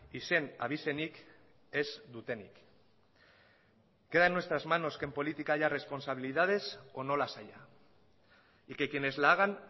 izen abizenik ez dutenik queda en nuestras manos que en política haya responsabilidades o no las haya y que quienes la hagan